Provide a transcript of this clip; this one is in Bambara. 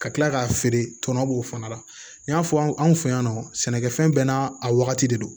Ka kila k'a feere tɔnɔ b'o fana la n y'a fɔ anw fɛ yan nɔ sɛnɛkɛfɛn bɛɛ n'a a wagati de don